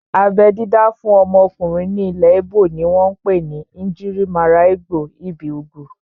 Abẹ́ dídá fún ọmọkùnrin ní ilẹ̀ íbò ni wọ́n pè ní "Njirimaralgbo ibi ugwu"